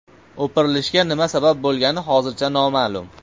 O‘pirilishga nima sabab bo‘lgani hozircha noma’lum.